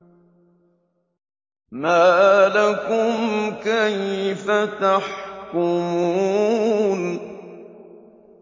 مَا لَكُمْ كَيْفَ تَحْكُمُونَ